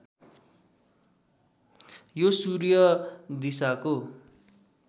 यो सूर्य दिशाको